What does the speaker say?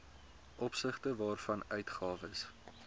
opsigte waarvan uitgawes